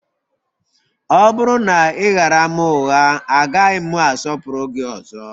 Ọ bụrụ na ị ghaara m ụgha, agaghị m asọpụrụ gị ọzọ